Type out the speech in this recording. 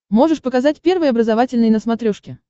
можешь показать первый образовательный на смотрешке